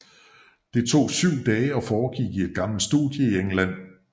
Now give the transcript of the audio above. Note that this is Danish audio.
Det tog syv dage og foregik i et gammelt studie i England